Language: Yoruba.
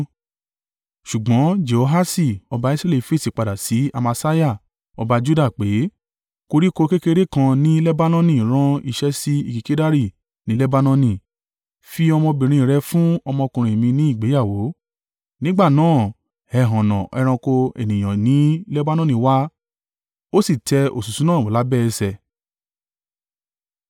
Ṣùgbọ́n Jehoaṣi ọba Israẹli fèsì padà sí Amasiah ọba Juda pé, “Koríko kékeré kan ní Lebanoni rán iṣẹ́ sí igi kedari ní Lebanoni, fi ọmọbìnrin rẹ fún ọmọkùnrin mi ní ìgbéyàwó. Nígbà náà, ẹhànnà ẹranko ènìyàn ni Lebanoni wá, ó sì tẹ òṣùṣú náà lábẹ́ ẹsẹ̀.